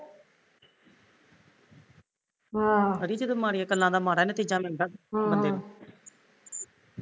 ਅੜੀਏ ਜਦੋਂ ਮਾੜੀਆ ਗੱਲਾ ਦਾ ਮਾੜਾ ਈ ਨਤੀਜਾ ਮਿਲਦਾ ਬੰਦੇ ਨੂੰ